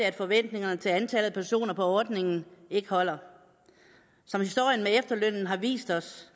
at forventningerne til antallet af personer på ordningen ikke holder som historien med efterlønnen har vist os